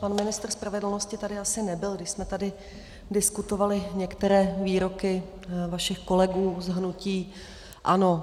Pan ministr spravedlnosti tady asi nebyl, když jsme tady diskutovali některé výroky vašich kolegů z hnutí ANO.